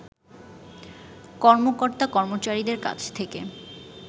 কর্মকর্তা-কর্মচারীদের কাছ থেকে